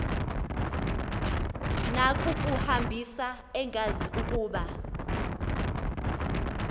nakukuhambisa engazi ukuba